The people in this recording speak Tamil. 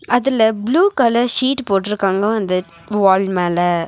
அதுல புளூ கலர் ஷீட் போட்டுருக்காங்க அந்த வால் மேல.